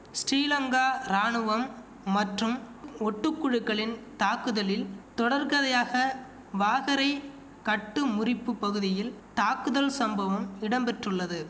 ஸ்டீலங்கா ராணுவம் மற்றும் ஒட்டு குழுக்களின் தாக்குதலின் தொடர்கதையாக வாகரை கட்டு முறிப்புப் பகுதியில் தாக்குதல் சம்பவம் இடம்பெற்றுள்ளது